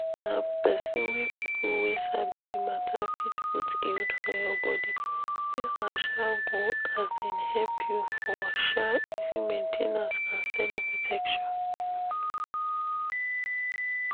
na people wey people wey sabi the matter fit put iud for your body. this one um go um help you for um easy main ten ance and steady protection.